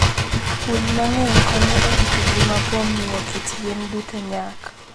Winy mang'eny konyo e rito ngima kuom miyo kit yien duto nyak.